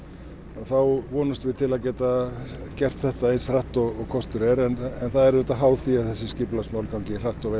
þá vonumst við til að geta gert þetta eins hratt og kostur er en það er háð því að þessi skipulagsmál gangi hratt og